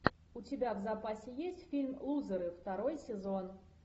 у тебя в запасе есть фильм лузеры второй сезон